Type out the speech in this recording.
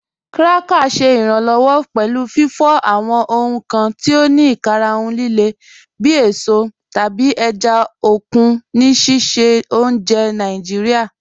Krakers ṣẹ iranlọwọ pẹlu fifọ awọn ohun kan ti o ni ikarahun lile bi èsọ tabi èjá okun ni sísẹ ọ̀unjẹ́ Naijiria.